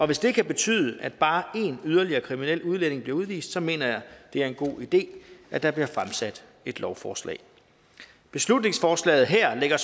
det kan betyde at bare én yderligere kriminel udlænding bliver udvist så mener jeg at det er en god idé at der bliver fremsat et lovforslag beslutningsforslaget her lægger